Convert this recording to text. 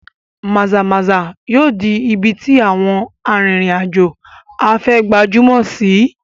Maza-maza yóò di ibi tí àwọn arìnrìn-àjò afẹ́ gbajúmọ̀ sí i.